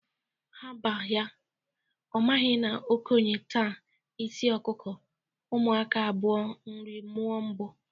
Hapa ya, ọ maghị na okenye taa isi ọkụkụ, ụmụaka a bụa nrị mụọ ụbụ.